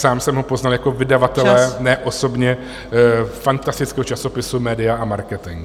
Sám jsem ho poznal jako vydavatele , ne osobně, fantastického časopisu Média a marketing.